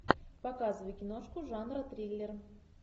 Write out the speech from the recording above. показывай киношку жанра триллер